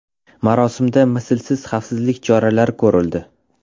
Marosimda mislsiz xavfsizlik choralari ko‘rildi.